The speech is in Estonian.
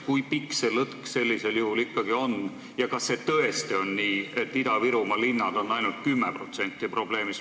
Kui pikk see lõtk sellisel juhul ikkagi on ja kas tõesti on nii, et Ida-Virumaa linnad on ainult 10% probleemist?